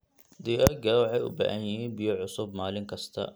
Digaagga waxay u baahan yihiin biyo cusub maalin kasta.